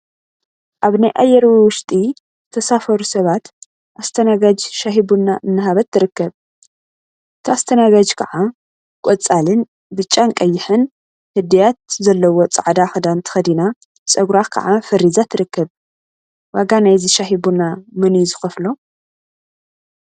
አብ ናይ አየር ወንበር ውሽጢ ዝተሳፈሩ ሰባት አስተናጋጅ ሻሂ ቡና እናሃበት ትርከብ፡፡ እታ አስተናጋጅ ከዓ ቆፃልን፣ ብጫን ቀይሕን እድያት አለዎ ፃዕዳ ክዳን ተከዲና ፀጉራ ከዓ ፈሪዛ ትርከብ፡፡ ዋጋ ናይዚ ሻሂ ቡና መን እዩ ዝከፍሎ?